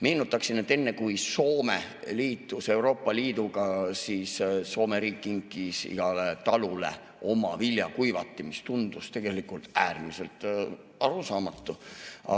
Meenutaksin, et enne kui Soome liitus Euroopa Liiduga, siis Soome riik kinkis igale talule oma viljakuivati, mis tundus tegelikult äärmiselt arusaamatu.